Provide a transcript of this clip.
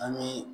An bɛ